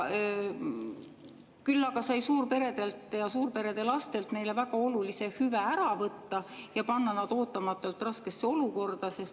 Küll aga sai suurperedelt ja suurperede lastelt neile väga olulise hüve ära võtta ja panna nad ootamatult raskesse olukorda.